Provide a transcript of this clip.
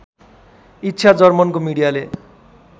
इच्छा जर्मनको मिडियाले